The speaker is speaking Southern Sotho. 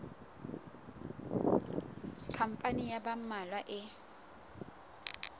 khampani ya ba mmalwa e